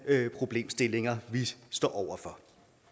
problemstillinger vi står over for